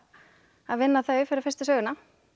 að vinna þau fyrir fyrstu söguna